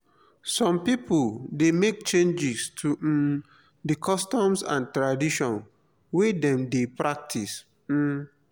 some pipo de make changes to um di custom and tradition wey dem de practice um